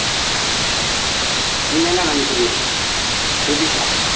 நீங்க என்ன நினைக்கிறீங்க ரூபிஷா